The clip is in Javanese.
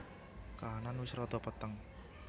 Kahanan wis rada peteng